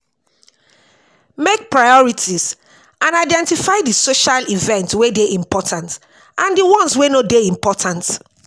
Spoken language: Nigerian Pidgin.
Make priorities and identify di social event wey dey important and di ones wey no dey important